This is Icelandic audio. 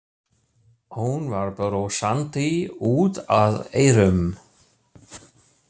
Hún var brosandi út að eyrum.